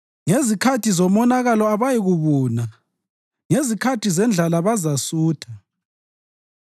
Ngezikhathi zomonakalo abayikubuna; ngezikhathi zendlala bazasutha.